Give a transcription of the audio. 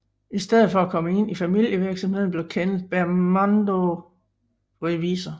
I stedet for at komme ind i familievirksomheden blev Kenneth Bernardo revisor